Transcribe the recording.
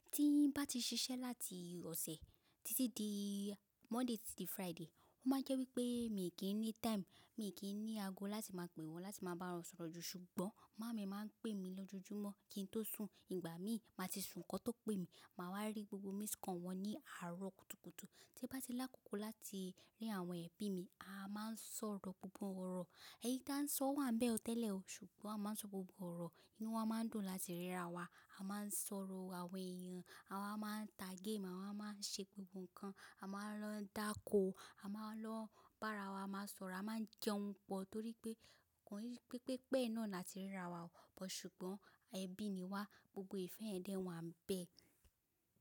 Tí n bá ti ṣiṣẹ́ láti ọ̀sẹ̀ títí di Monday títí di Friday, ó máa jẹ́ wípé mi kì í ní time, mi kì í ní ago láti máa pè wọ́n, láti máa bá wọn sọ̀rọ̀ ju. Ṣùgbọ́n màámi máa ń pè mí lójoojúmọ́ kí n tó sùn, ìgbà mi máa ti sùn kí wọ́n tó pè mí. Màá wá rí gbogbo miss call wọn ní àárọ̀ kùtùkùtù. Tí bá ti lákòókò láti rí àwọn ẹbí mi, a máa ń sọ̀rọ̀ gbogbo ọ̀rọ̀. Ẹyi tí a ń sọ wá ń bẹ ọ tẹ́lẹ̀ o, ṣùgbọ́n a máa ń sọ gbogbo ọ̀rọ̀. Inú wa máa ń dùn láti ríra wa. A máa ń sọ̀rọ̀ àwọn ẹ̀yàn, àwa máa ń ta game, àwa máa ń ṣe gbogbo nǹkan, a máa ń lọ dáko, a máa lọ bá ara wa, máa sọ̀rọ̀, a máa ń jẹun pọ torí pé kò rí pé pépé náà ni a ti ríra wa o. Ṣùgbọ́n ẹbí ni wá, gbogbo ìfẹ́ ẹ dé wá ń bẹ.